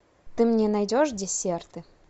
ты мне найдешь десерты